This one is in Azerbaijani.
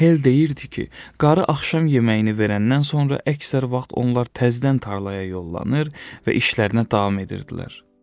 Hell deyirdi ki, qarı axşam yeməyini verəndən sonra əksər vaxt onlar təzdən tarlaya yollanır və işlərinə davam edirdilər.